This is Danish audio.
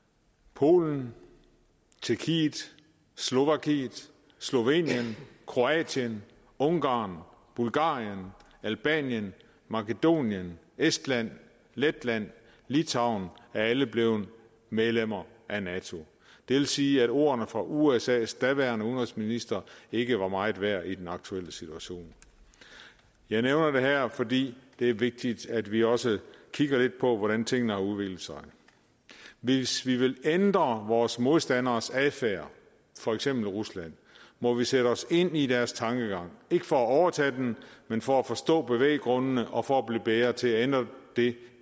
polen tjekkiet slovakiet slovenien kroatien ungarn bulgarien albanien makedonien estland letland litauen er alle blevet medlemmer af nato det vil sige at ordene fra usas daværende udenrigsminister ikke var meget værd i den aktuelle situation jeg nævner det her fordi det er vigtigt at vi også kigger lidt på hvordan tingene har udviklet sig hvis vi vil ændre vores modstanderes adfærd for eksempel ruslands må vi sætte os ind i deres tankegang ikke for at overtage den men for at forstå bevæggrundene og for at blive bedre til at ændre det